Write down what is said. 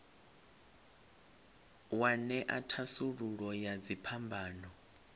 wa ṅea thasululo ya dziphambano